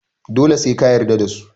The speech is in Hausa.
dole se ka yarda dasu